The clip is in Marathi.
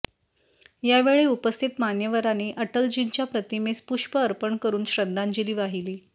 यावेळी उपस्थित मान्यवरांनी अटलजींच्या प्रतिमेस पुष्प अर्पण करुन श्रद्धांजली वाहिली